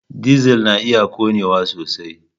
Dizal na iya ƙonewa sosai.